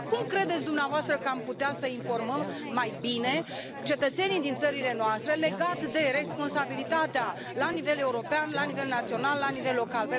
Cum credeți dumneavoastră că am putea să îi informăm mai bine pe cetățenii din țările noastre legat de responsabilitatea la nivel european, la nivel național, la nivel local?